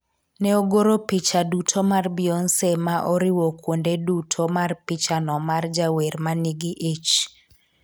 ne ogoro picha duto mar Beyonce ma oriwo kwonde duto mar picha no mar jawer ma nigi ich